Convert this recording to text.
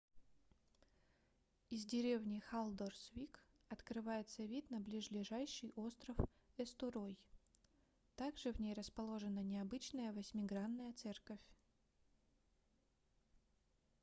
из деревни халдорсвик открывается вид на близлежащий остров эстурой также в ней расположена необычная восьмигранная церковь